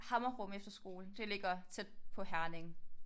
Hammerrum efterskole det ligger tæt på Herning